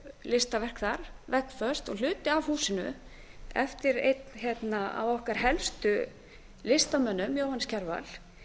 listaverk þar veggföst og hluti af húsinu eftir einn af ekki helstu listamönnum jóhannes kjarval